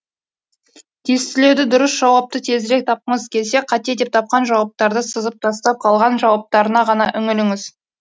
тестілеуді дұрыс жауапты тезірек тапқыңыз келсе қате деп тапқан жауаптарды сызып тастап қалған жауаптарына ғана үңіліңіз